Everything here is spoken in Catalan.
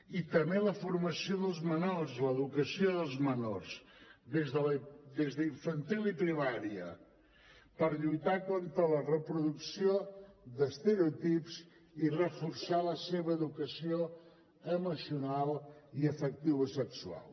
i també la formació dels menors l’educació dels menors des d’infantil i primària per lluitar contra la reproducció d’estereotips i reforçar la seva educació emocional i afectivosexual